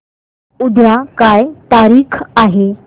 उद्या काय तारीख आहे